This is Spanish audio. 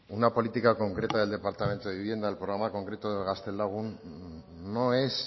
una política concreta del departamento de vivienda el programa en concreto de gaztelagun no es